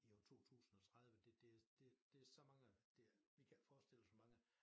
I år 2030 det det det det så mange det er vi kan ikke forestille os hvor mange